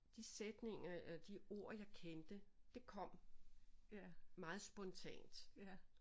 De sætninger og de ord jeg kendte det kom meget spontant